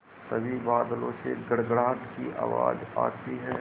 तभी बादलों से गड़गड़ाहट की आवाज़ आती है